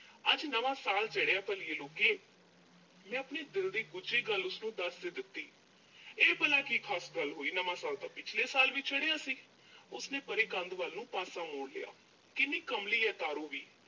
ਅੱਜ ਨਵਾਂ ਸਾਲ ਚੜਿਆ ਭਲੀਏ ਲੋਕੇ, ਮੈਂ ਆਪਣੇ ਦਿਲ ਦੀ ਗੁੱਝੀ ਗੱਲ ਉਸਨੂੰ ਦੱਸ ਦਿੱਤੀ ਇਹ ਭਲਾ ਕੀ ਖਾਸ ਗੱਲ ਹੋਈ ਨਵਾਂ ਸਾਲ ਤਾਂ ਪਿਛਲੇ ਸਾਲ ਵੀ ਚੜਿਆ ਸੀ। ਉਸਨੇ ਪਰੇ ਕੰਧ ਵੱਲ ਨੂੰ ਪਾਸਾ ਮੋੜ ਲਿਆ ਕਿੰਨੀ ਕਮਲੀ ਆ ਤਾਰੋ ਵੀ।